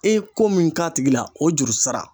E ye ko min k'a tigi la o juru sara.